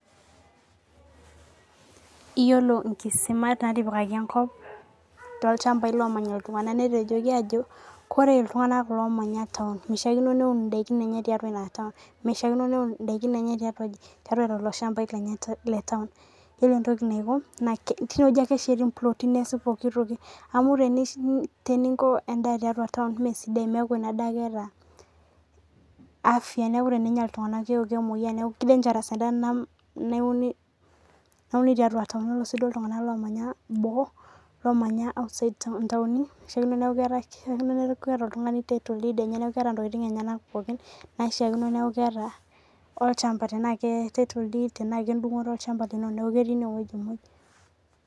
Iyiolo inkisimata natipikaki natipikaki enkop tooilchambai loo manya iltung'ana netonoki ajo ore iltung'ana omanya taon meishakino neun idaikin enye tiatu ina taon meishakino neun idaikin enye tiatua aji tiatua lelo shambai le taon. Iyiolo entoki naiko naa tineweji ake esheti imploti neesi intokitin pookitin toki amuu teninko edaa taiatua taon mesidai meeku ina daa keeta. afyaa neeku tenenya iltung'ana keeku kemoyia neeku kii dangerous edaa nauni tiatua taon. Oree sii duo iltung'ana lomanya boo lomanya outside inatonini kishaikino neeku keeta oltung'ani title deed neekuu keeta intokitin enyenak pookin naishakino neeku keeta olchamba tena kee title deed trna kedungo'oto olchamba neeku ketii inaweji muj.